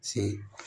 Se